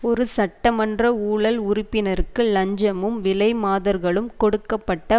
ஒரு சட்டமன்ற ஊழல் உறுப்பினருக்கு இலஞ்சமும் விலைமாதர்களும் கொடுக்க பட்ட